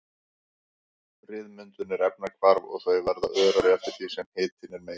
Ryðmyndun er efnahvarf og þau verða örari eftir því sem hitinn er meiri.